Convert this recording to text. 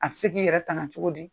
A bɛ se k'i yɛrɛ tanga cogo di?